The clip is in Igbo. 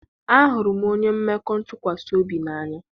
ahụrụ m onye mmekọ ntụkwasị obi n'anya.